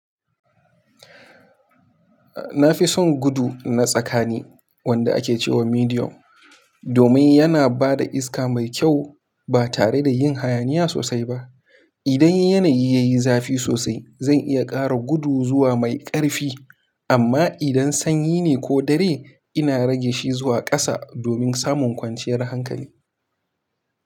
Na fi son gudu na tsakani wanda ake cewa medium, domin yana ba da iska mai kyau ba tare da yin hayaniya sosai ba. Idan yanayi ya yi zafi sosai, zan iya ƙara gudu zuwa mai ƙarfi, amma idan sanyi ne ko dare, ina rage shi zuwa ƙasa domin samun kwanciyar hankali.